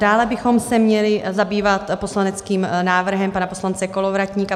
Dále bychom se měli zabývat poslaneckým návrhem pana poslance Kolovratníka.